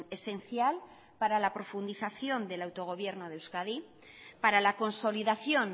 esencial para la profundización del autogobierno de euskadi para la consolidación